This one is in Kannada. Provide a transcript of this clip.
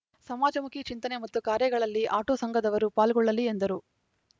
ಸಮಾಜಮುಖಿ ಚಿಂತನೆ ಮತ್ತು ಕಾರ್ಯಗಳಲ್ಲಿ ಆಟೋ ಸಂಘದವರು ಪಾಲ್ಗೊಳ್ಳಲಿ ಎಂದರು